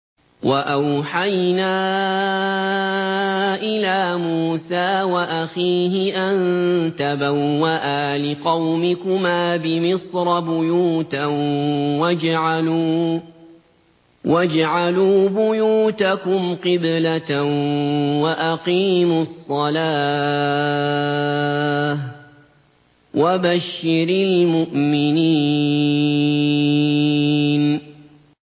وَأَوْحَيْنَا إِلَىٰ مُوسَىٰ وَأَخِيهِ أَن تَبَوَّآ لِقَوْمِكُمَا بِمِصْرَ بُيُوتًا وَاجْعَلُوا بُيُوتَكُمْ قِبْلَةً وَأَقِيمُوا الصَّلَاةَ ۗ وَبَشِّرِ الْمُؤْمِنِينَ